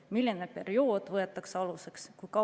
Milline periood võetakse aluseks?